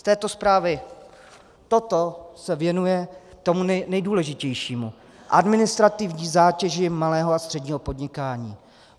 Z této zprávy toto se věnuje tomu nejdůležitějšímu - administrativní zátěži malého a středního podnikání.